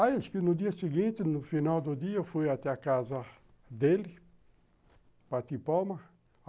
Aí, acho que no dia seguinte, no final do dia, eu fui até a casa dele, bati palma.